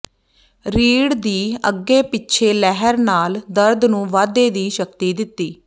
ਰੀੜ੍ਹ ਦੀ ਅੱਗੇ ਪਿੱਛੇ ਲਹਿਰ ਨਾਲ ਦਰਦ ਨੂੰ ਵਾਧੇ ਦੀ ਸ਼ਕਤੀ ਦਿੱਤੀ